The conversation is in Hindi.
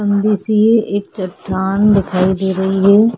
लंबी-सी एक चट्टान दिखाई दे रही है --